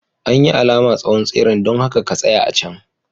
An yi alama tsawon tseren, don haka ka tsaya a can.